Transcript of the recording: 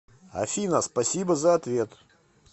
афина спасибо за ответ